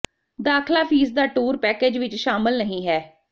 ਦਾਖਲਾ ਫੀਸ ਦਾ tour package ਵਿਚ ਸ਼ਾਮਲ ਨਹੀਂ ਹੈ